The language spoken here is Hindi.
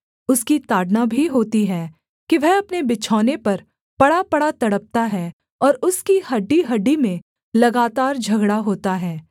उसकी ताड़ना भी होती है कि वह अपने बिछौने पर पड़ापड़ा तड़पता है और उसकी हड्डीहड्डी में लगातार झगड़ा होता है